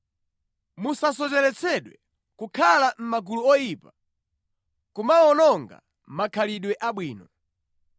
Musasocheretsedwe, “Kukhala mʼmagulu oyipa kumawononga makhalidwe abwino.”